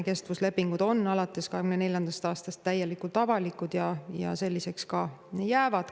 Kestvuslepingud on alates 2024. aastast täiesti avalikud ja selliseks ka jäävad.